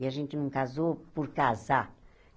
E a gente não casou por casar.